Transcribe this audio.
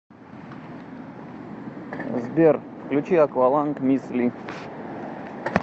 сбер включи акваланг мисс ли